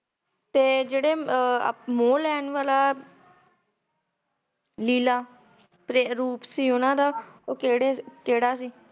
ਤੇ ਜੇੜੇ ਆਹ ਮੋਹ ਲੈਣ ਵਾਲਾ ਨੀਲਾ ਪ੍ਰੇ~ਰੂਟ ਸੀ ਉੰਨਾ ਦਾ ਉਹ ਕੇੜੇ ~ ਕੇੜਾ ਸੀ?